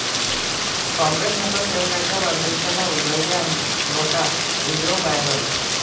काँग्रेस नगरसेवकाच्या वाढदिवसाला उधळल्या नोटा, व्हिडिओ व्हायरल